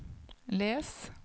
les